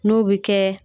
N'o bɛ kɛ